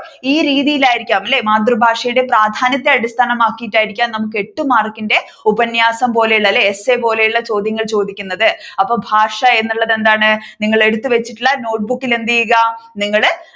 ഈ രീതിയിലായിരിക്കാം മാതൃഭാഷയുടെ പ്രാധ്യാനത്തെ അടിസ്ഥാനമാക്കിട്ടായിരിക്കാം നമ്മുക്ക് എട്ടു മാർക്കിന്റെ ഉപന്യാസം പോലെ ഉള്ള അല്ലെ essay പോലെ ഉള്ള ചോദ്യങ്ങൾ ചോദിക്കുന്നത് അപ്പൊ ഭാഷ എന്നുള്ളത് എന്താണ് നിങ്ങൾ എടുത്തുവച്ചിട്ടുള്ള notebook ഇൽ എന്ത് ചെയ്യുക നിങ്ങളു